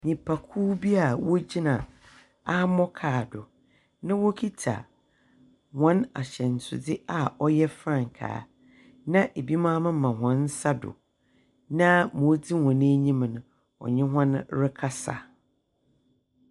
Nyimpakuw bi awogyina armor kaa do na wokitsa hɔn ahyɛnsewdze a ɔyɛ frankaa, na binom amema hɔn nsa do, na wodzi hɔn enyim no, ɔnye hɔn rekasa.